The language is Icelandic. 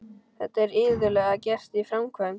Þetta er iðulega gert í framkvæmd.